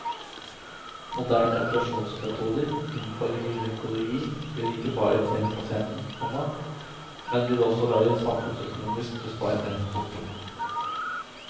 Moderne operasjonsmetoder innenfor gynekologi vil ikke bare tjene pasienten, komma men vil også være samfunnsøkonomisk besparende. punktum